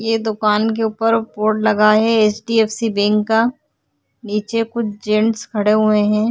ये दुकान के उपर बोर्ड लगा है H D F C bank का नीचे कुछ जेंट्स खड़े हुए है।